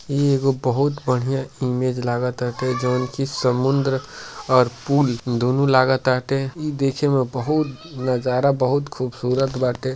ई एगो बहुत बढ़िया इमेज लागताटे जौन कि समुद्र और पुल दुनो लागताटे। ई देखे में नजारा बहुत खूबसूरत बाटे।